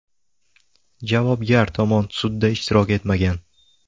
Javobgar tomon sudda ishtirok etmagan.